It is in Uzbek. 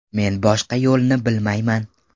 Men boshqa yo‘lni bilmayman.